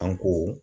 An ko